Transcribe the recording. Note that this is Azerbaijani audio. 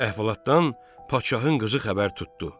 Əhvalatdan Padşahın qızı xəbər tutdu.